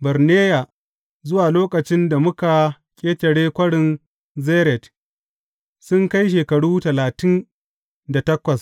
Barneya zuwa lokacin da muka ƙetare Kwarin Zered, sun kai shekaru talatin da takwas.